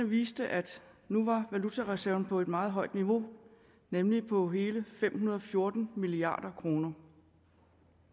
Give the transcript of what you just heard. viste at nu var valutareserven på et meget højt niveau nemlig på hele fem hundrede og fjorten milliard kroner